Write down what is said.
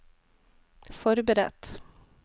forberedt